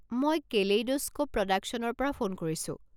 মই কেলেইড'স্ক'প প্ৰডাকশ্যনৰ পৰা ফোন কৰিছো।